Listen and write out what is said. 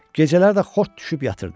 Gecələr də xort düşüb yatırdı.